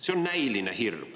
See on näiline hirm.